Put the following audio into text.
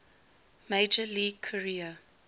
major league career